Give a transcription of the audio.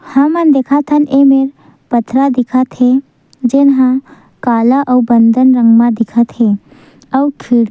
हमन देखत हन ये मेर पथरा दिखत हे जऊन हा काला आऊ बंदन रंग म दिखत हे आऊ खिड़की--